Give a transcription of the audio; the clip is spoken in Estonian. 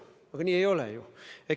Aga ei ole ju nii.